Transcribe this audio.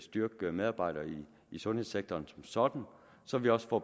styrke medarbejderne i sundhedssektoren som sådan så vi også får